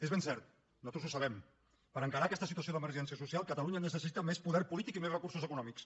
és ben cert nosaltres ho sabem per encarar aquesta situació d’emergència social catalunya necessita més poder polític i més recursos econòmics